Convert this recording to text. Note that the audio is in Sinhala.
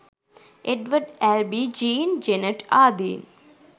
එඩ්වඩ් ඇල්බී ජීන් ජෙනට් ආදීන්